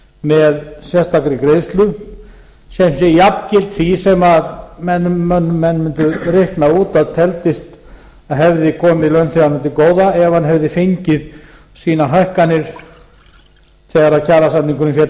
með sérstakri greiðslu sem sé jafngild því sem menn mundu reikna út að teldist að hefði komið launþeganum til góða ef hann hefði fengið sínar hækkanir þegar kjarasamningurinn féll